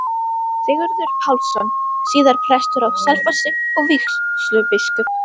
Sigurður Pálsson, síðar prestur á Selfossi og vígslubiskup.